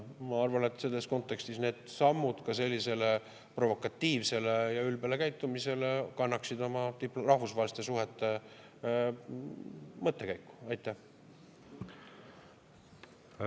Ma arvan, et need sammud sellisele provokatiivsele ja ülbele käitumisele kannaksid selles kontekstis ka rahvusvaheliste suhete mõttes oma.